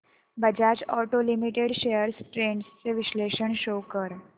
Bajaj auto limited shares trends चे विश्लेषण show कर